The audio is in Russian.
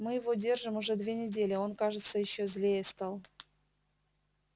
мы его держим уже две недели а он кажется ещё злее стал